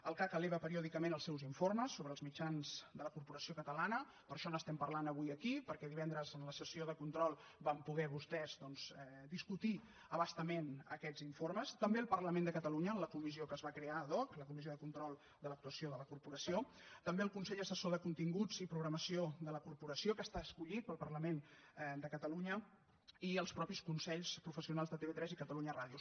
el cac eleva periòdicament els seus informes sobre els mitjans de la corporació catalana per això n’estem parlant avui aquí perquè divendres en la sessió de control van poder vostès discutir a bastament aquests informes també al parlament de catalunya en la comissió que es va crear ad hoc la comissió de control de l’actuació de la corporació també el consell assessor de continguts i programació de la corporació que està escollit pel parlament de catalunya i els propis consells professionals de tv3 i catalunya ràdio